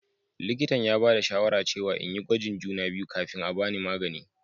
Likintan ya bada shawara cewa n'yi gwajin juna biyu kafin a'bani magani.